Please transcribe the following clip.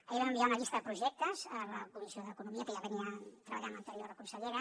ahir vam enviar una llista de projectes a la comissió d’economia que ja treballava l’anterior consellera